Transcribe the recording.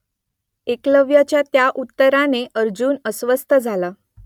एकलव्याच्या या उत्तराने अर्जुन अस्वस्थ झाला